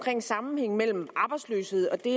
sammenhængen mellem arbejdsløshed og det